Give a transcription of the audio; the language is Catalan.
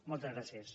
moltes gràcies